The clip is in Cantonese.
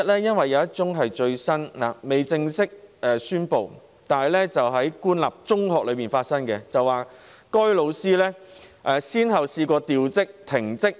因為有一宗最新個案仍未正式公布，個案發生在官立中學，該名老師曾先後被調職、停職。